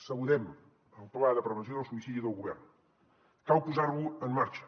saludem el pla de prevenció del suïcidi del govern cal posar lo en marxa